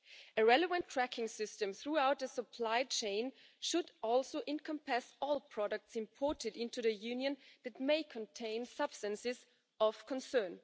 A relevant tracking system throughout the supply chain should also encompass all products imported into the Union that may contain substances of concern.